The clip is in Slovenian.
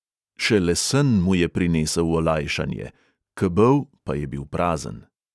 Šele sen mu je prinesel olajšanje, kebel pa je bil prazen.